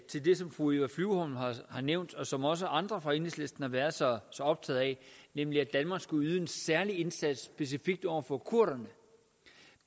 til det som fru eva flyvholm har nævnt og som også andre fra enhedslisten har været så optaget af nemlig at danmark skulle yde en særlig indsats specifikt over for kurderne